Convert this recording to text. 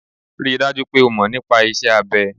Ri dájú pé o mọ̀ nípa iṣẹ́ abẹ.